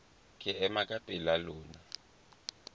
ke ema ka pela lona